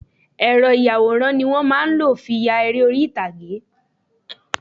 Ẹ́rọ ìyàwòrán ni wọ́n má a ń lò fi ya eré orí ìtàgé